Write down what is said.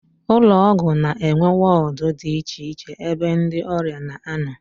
Ụlọọgwụ na-enwe wọọdụ dị icheiche ebe ndị ọrịa na-anọ